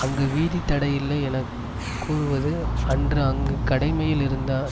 அங்கு வீதி தடை இல்லை என கூறுவது அன்று அங்கு கடமையில் இருந்த